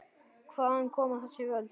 Hvaðan koma þessi völd?